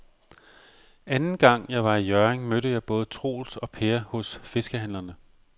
Anden gang jeg var i Hjørring, mødte jeg både Troels og Per hos fiskehandlerne.